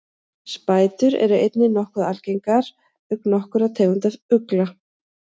spætur eru einnig nokkuð algengar auk nokkurra tegunda ugla